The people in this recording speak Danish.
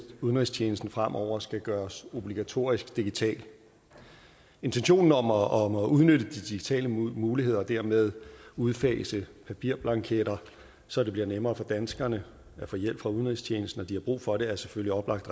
udenrigstjenesten fremover skal gøres obligatorisk digital intentionen om at om at udnytte de digitale muligheder og dermed udfase papirblanketter så det bliver nemmere for danskerne at få hjælp fra udenrigstjenesten når de har brug for det er selvfølgelig oplagt